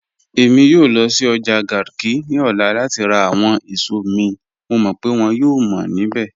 Ẹ̀mi yòò lọ́ sí ọ́jà Garki ni ọ̀lá láti rá àwọn èṣọ̀ mi, mọ̀ mọ́ pe wọ́n yòò mọ́ nibẹ̀